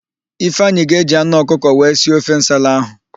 Ifeanyị ga-eji anụ ọkụkọ wee si ofe nsala ahụ.